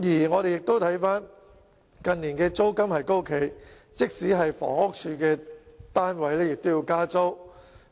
我們亦看到近年租金高企，即使是房屋署的單位也要加租。